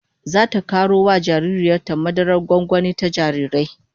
Zata karo wa jaririyar ta madarar gwangwani ta jarirai